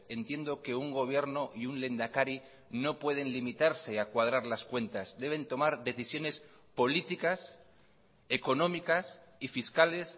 entiendo que un gobierno y un lehendakari no pueden limitarse a cuadrar las cuentas deben tomar decisiones políticas económicas y fiscales